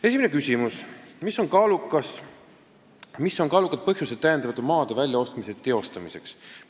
Esimene küsimus: "Mis on kaalukad põhjused täiendava maade väljaostmise teostamiseks?